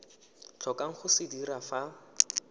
tlhokang go se dira fa